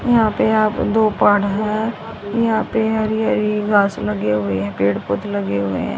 यहां पे आप दो पहाड़ हैं यहां पे हरी हरी घास लगे हुए हैं पेड़ पौधे लगे हुए हैं।